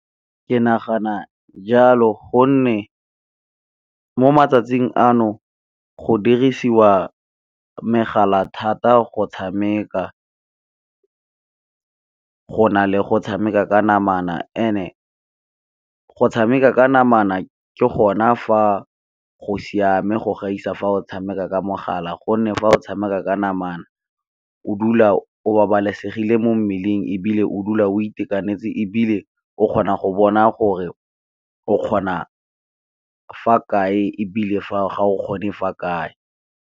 Ke nagana jalo gonne mo matsatsing ano, go dirisiwa megala thata go tshameka go na le go tshameka ka namana end-e go tshameka ka namana ke gona fa go siame go gaisa fa o tshameka ka mogala, gonne fa o tshameka ka namana o dula o babalesegile mo mmeleng ebile o dula o itekanetse, ebile o kgona go bona gore o kgona fa kae ga o kgone fa kae.